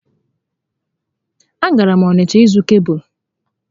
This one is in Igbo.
A gara m Onịsha ịzụ kebụlụ